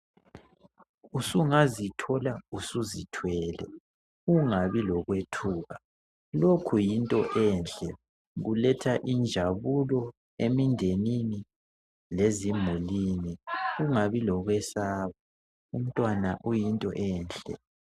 Sungazithola suzithwele , ungabi lokwethuka. Lokhu yinto enhle iletha injabulo emdenini lezimulwini, ungabi lokwesaba umntwana uyinto enhle.